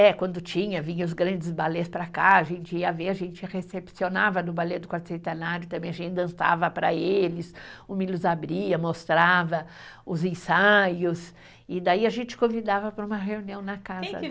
É, quando tinha, vinha os grandes balés para cá, a gente ia ver, a gente recepcionava no balé do quarto centenário também, a gente dançava para eles, o Milos abria, mostrava os ensaios, e daí a gente convidava para uma reunião na casa